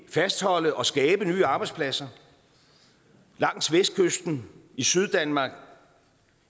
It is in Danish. fastholde og skabe nye arbejdspladser langs vestkysten i syddanmark